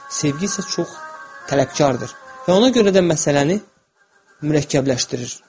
Sevgi isə çox tələbkardır və ona görə də məsələni mürəkkəbləşdirir.